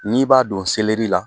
N'i b'a don la